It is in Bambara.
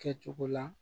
Kɛcogo la